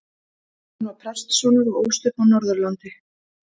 Hann var prestssonur og ólst upp á Norðurlandi.